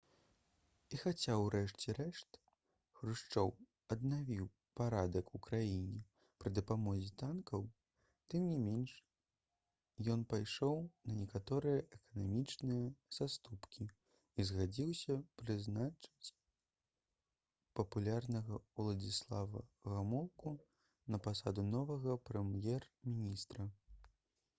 і хаця ўрэшце рэшт хрушчоў аднавіў парадак у краіне пры дапамозе танкаў тым не менш ён пайшоў на некаторыя эканамічныя саступкі і згадзіўся прызначыць папулярнага уладзіслава гамулку на пасаду новага прэм'ер-міністра